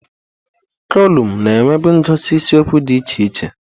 Kolụmụ na-enwebu ngosi isiokwu dị iche iche.